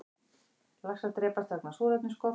Laxar drepast vegna súrefnisskorts